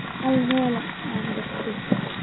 Hel meel aad degto